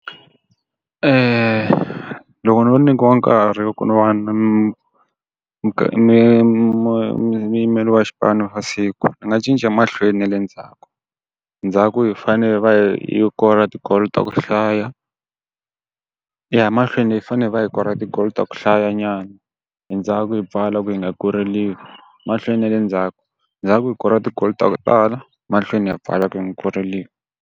loko no nyikiwa nkarhi wa ku va mu mu muyimeri wa xi xipano xa siku ni nga cinca mahlweni na le ndzhaku. Ndzhaku hi fanele hi va hi kora ti-goal ta ku hlaya ya mahlweni hi fanele hi va hi kora ti-goal ta ku hlayanyana, endzhaku hi pfala ku hi nga koreriwi. Mahlweni na le ndzhaku, ndzhaku hi kora ti-goal ta ku tala, mahlweni ha pfala ku hi nga koreriwi.